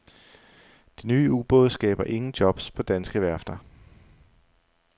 De nye ubåde skaber ingen jobs på danske værfter.